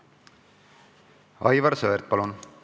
Aivar Sõerd, palun!